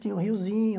Tinha o riozinho.